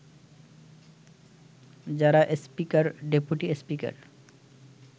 যারা speaker, deputy speaker